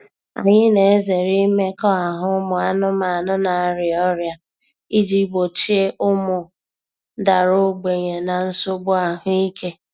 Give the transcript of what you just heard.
Anyị na-ezere imekọahụ ụmụ anụmanụ na-arịa ọrịa iji gbochie ụmụ dara ogbenye na nsogbu ahụike.